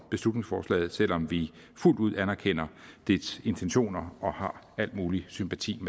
beslutningsforslaget selv om vi fuldt ud anerkender dets intentioner og har al mulig sympati